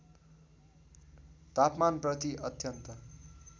तापमान प्रति अत्यन्त